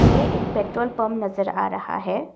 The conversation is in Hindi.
ये एक पेट्रोल पंप नजर आ रहा है।